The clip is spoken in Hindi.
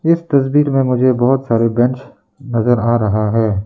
इस तस्वीर में मुझे बहुत सारे बेंच नजर आ रहा है।